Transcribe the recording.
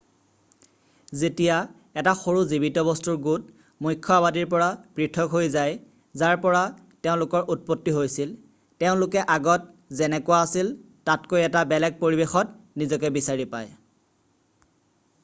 যেতিয়া এটা সৰু জীৱিত বস্তুৰ গোট এটা সৰু আবাদী মুখ্য আবাদীৰ পৰা পৃথক হৈ যায় যাৰ পৰা তেওঁলোকৰ উৎপত্তি হৈছিল যেনে যদি তেওঁলোকে কোনো পৰ্বতমালা বা নদী পাৰ হৈ যায় বা যদি তেওঁলোকে কোনো নতুন দ্বীপলৈ গুছি যায় য'ৰ পৰা সহজে ঘুৰি আহিব নোৱাৰে তেওঁলোকে আগত যেনেকুৱা আছিল তাতকৈ এটা বেলেগ পৰিবেশত নিজকে বিচাৰি পাই।